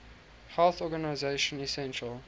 health organization essential